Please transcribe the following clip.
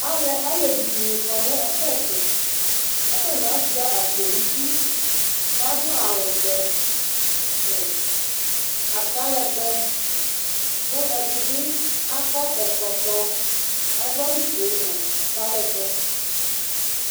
Alevi dini kɔnʋ ɔbɛtʋ kʋ atani asuia akpo nʋ idʋ kʋ adʋ awʋvɛ nʋ ata lɛgbɛ kʋ ɛdibi akɔ ɛkɔtɔ kʋ adʋ awʋfue nʋ ata lɛgbɛ